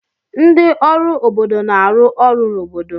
Ndị ọrụ obodo na-arụ ọrụ n'obodo.